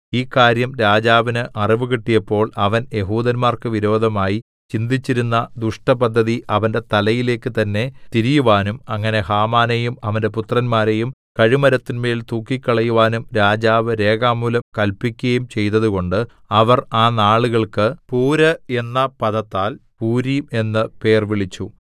ഈ കാര്യം രാജാവിന് അറിവ് കിട്ടിയപ്പോൾ അവൻ യെഹൂദന്മാർക്ക് വിരോധമായി ചിന്തിച്ചിരുന്ന ദുഷ്ടപദ്ധതി അവന്റെ തലയിലേക്ക് തന്നെ തിരിയുവാനും അങ്ങനെ ഹാമാനെയും അവന്റെ പുത്രന്മാരെയും കഴുമരത്തിന്മേൽ തൂക്കിക്കളയുവാനും രാജാവ് രേഖാമൂലം കല്പിക്കയും ചെയ്തതുകൊണ്ട് അവർ ആ നാളുകൾക്ക് പൂര് എന്ന പദത്താൽ പൂരീം എന്ന് പേർവിളിച്ചു